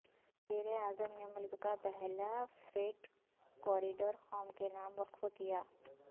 وزیر اعظم نے ملک کا پہلا فریٹ کوریڈور قوم کے نام وقف کیا